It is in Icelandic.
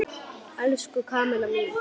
Elsku Kamilla mín!